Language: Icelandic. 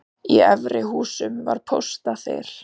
Í eldri húsum var póstaþil.